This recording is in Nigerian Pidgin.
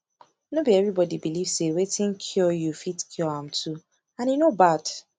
no be everybody believe say wetin cure you fit cure am too and e no bad